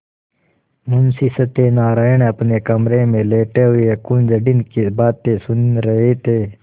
मुंशी सत्यनारायण अपने कमरे में लेटे हुए कुंजड़िन की बातें सुन रहे थे